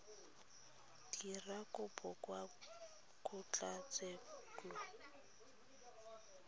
dira kopo kwa kgotlatshekelo ya